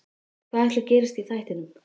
Hvað ætli gerist í þættinum?